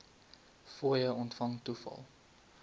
fooie ontvang toegeval